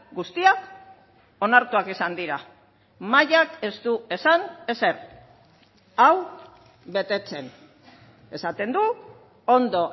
guztiak onartuak izan dira mahaiak ez du esan ezer hau betetzen esaten du ondo